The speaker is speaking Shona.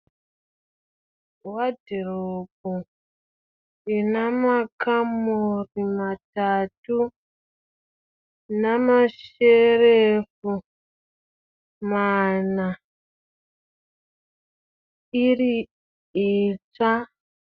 Wadhiropu inamakamuri matatu, namasherefu mana. Iri itsva.